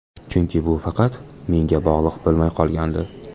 Chunki bu faqat menga bog‘liq bo‘lmay qolgandi.